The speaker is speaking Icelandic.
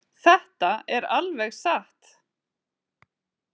Þetta er alveg satt.